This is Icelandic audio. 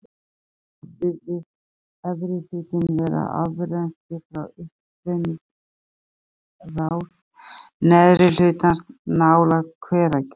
Þannig virðist efri hlutinn vera afrennsli frá uppstreymisrás neðri hlutans nálægt Hveragili.